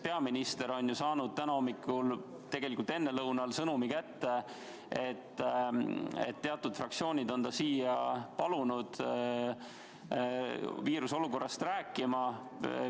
Peaminister on ju saanud täna ennelõunal selle sõnumi kätte, et teatud fraktsioonid paluvad ta siia viiruse põhjustatud olukorrast rääkima.